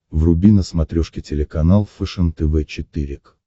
вруби на смотрешке телеканал фэшен тв четыре к